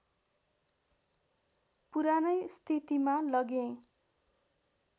पुरानै स्थितिमा लगेँ